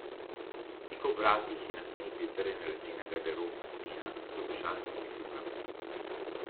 Tik ob vratih je na steni pritrjena lesena garderobna stena z obešalnimi kljukami.